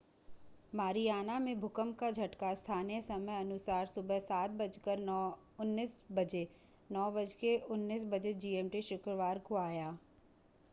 Mariana में भूकंप का झटका स्थानीय समयानुसार सुबह 07:19 बजे 09:19 बजे जीएमटी शुक्रवार आया।